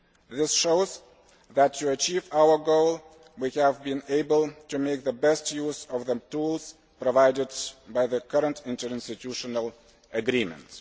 This shows that, to achieve our goal, we have been able to make the best use of the tools provided by the current interinstitutional agreement.